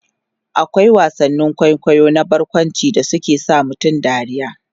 akwai wasannin kwaikwayo na barkwanci da suke sa mutum dariya